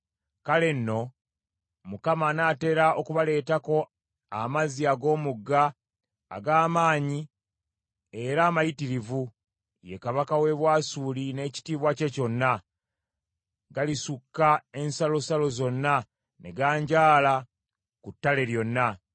kale nno Mukama anaatera okubaleetako amazzi ag’Omugga, ag’amaanyi era amayitirivu, ye kabaka w’e Bwasuli n’ekitiibwa kye kyonna; galisukka ensalosalo zonna, ne ganjaala ku ttale lyonna.